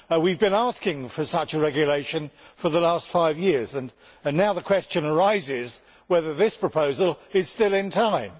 We have been asking for such a regulation for the last five years and now the question arises whether this proposal is still in time.